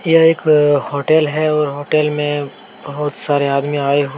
यह एक होटल है और होटल में बहुत सारे आदमी आए हुए --